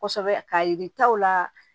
Kosɛbɛ k'a yir'i taw la